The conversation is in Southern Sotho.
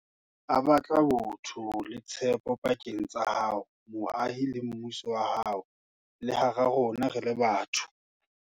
A batla botho le tshepo pakeng tsa hao, moahi, le mmuso wa hao, le hara rona re le batho.